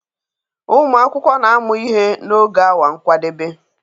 Ụmụ akwụkwọ na-amụ ihe n'oge awa nkwadebe